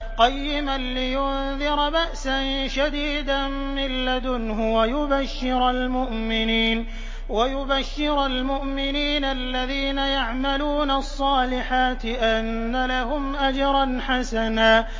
قَيِّمًا لِّيُنذِرَ بَأْسًا شَدِيدًا مِّن لَّدُنْهُ وَيُبَشِّرَ الْمُؤْمِنِينَ الَّذِينَ يَعْمَلُونَ الصَّالِحَاتِ أَنَّ لَهُمْ أَجْرًا حَسَنًا